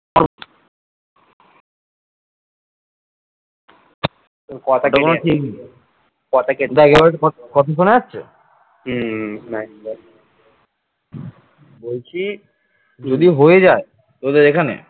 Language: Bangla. বলছি যদি হয়ে যায় তোদের এখানে